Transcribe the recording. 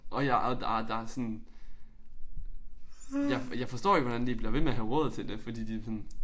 Og jeg og der der sådan jeg jeg forstår ikke hvordan de bliver ved med at have råd til det fordi de sådan